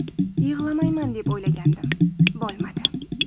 Yig‘lamayman deb o‘ylagandim, bo‘lmadi”.